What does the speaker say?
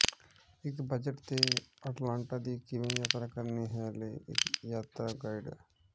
ਇੱਕ ਬਜਟ ਤੇ ਅਟਲਾਂਟਾ ਦੀ ਕਿਵੇਂ ਯਾਤਰਾ ਕਰਨੀ ਹੈ ਲਈ ਇੱਕ ਯਾਤਰਾ ਗਾਈਡ